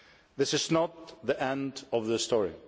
This is not the end of the story.